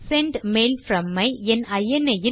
send mail from ஐ என் இனி